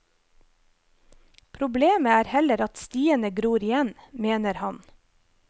Problemet er heller at stiene gror igjen, mener han.